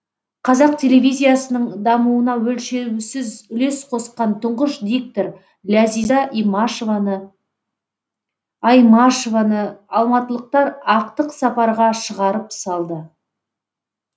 қазақ телевизиясының дамуына өлшеусіз үлес қосқан тұңғыш диктор ләзиза аймашеваны алматылықтар ақтық сапарға шығарып салды